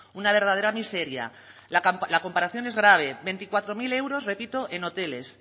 una verdadera miseria la comparación es grave veinticuatro mil euros repito en hoteles